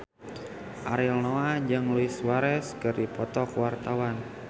Ariel Noah jeung Luis Suarez keur dipoto ku wartawan